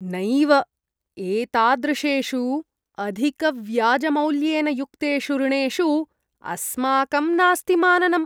नैव, एतादृशेषु अधिकव्याजमौल्येन युक्तेषु ऋणेषु अस्माकं नास्ति माननम्।